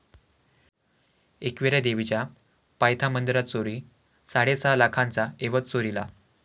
एकविरा देवीच्या पायथा मंदिरात चोरी, साडेसहा लाखांचा ऐवज चोरीला